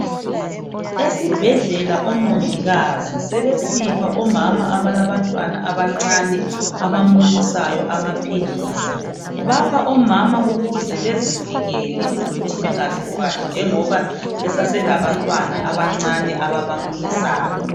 Esibhelela omongikazi sebesipha omama abalabantwana abancane abamunyisayo amaphilisi. Bapha omama ukuze bezivikele ukuthi bengazithwali njengoba besaselabantwana abancane ababa munyisayo.